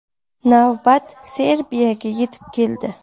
Navbat Serbiyaga yetib keldi.